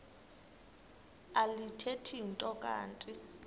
alithethi nto kanti